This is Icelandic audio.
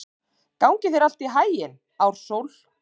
Gangi þér allt í haginn, Ársól.